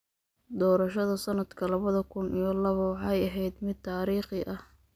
Doorashada sanadka labada kun iyo laba waxay ahayd mid taariikhi ah.